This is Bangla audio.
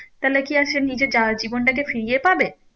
তাহলে কি আর সে নিজের যা জীবন টাকে ফিরিয়ে পাবে